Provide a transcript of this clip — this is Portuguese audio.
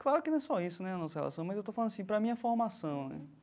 Claro que não é só isso né a nossa relação, mas eu estou falando assim para a minha formação né.